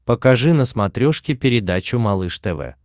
покажи на смотрешке передачу малыш тв